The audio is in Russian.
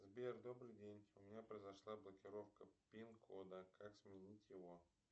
сбер добрый день у меня произошла блокировка пин кода как сменить его